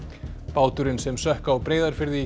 báturinn sem sökk á Breiðafirði í